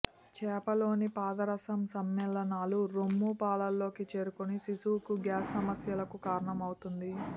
చేపలోని పాదరసం సమ్మేళనాలు రొమ్ము పాలలోకి చేరుకొని శిశువుకు గ్యాస్ సమస్యలకు కారణం అవుతుంది